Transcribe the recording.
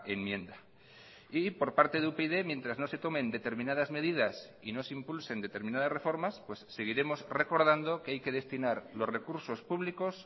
enmienda y por parte de upyd mientras nos se tomen determinadas medidas y no se impulsen determinadas reformas seguiremos recordando que hay que destinar los recursos públicos